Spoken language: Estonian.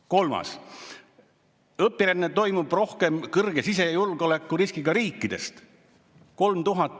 Kolmandaks: õpiränne toimub rohkem kõrge sisejulgeolekuriskiga riikidest.